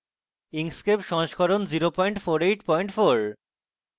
inkscape সংস্করণ 0484